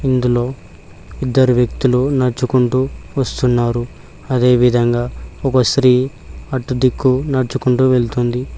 ఇందులో ఇద్దరు వ్యక్తులు నడుచుకుంటూ వస్తున్నారు అదేవిధంగా ఒక స్త్రీ అటు దిక్కు నడుచుకుంటూ వెళుతుంది.